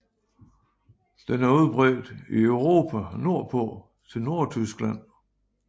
Den er udbredt i Europa nordpå til Nordtyskland